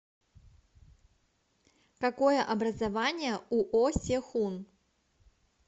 какое образование у о се хун